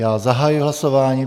Já zahajuji hlasování.